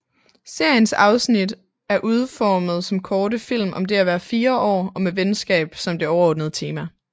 Seriens afsnit er udformet som korte film om det at være fire år og med venskab som det overordnede tema